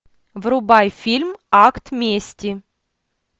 врубай фильм акт мести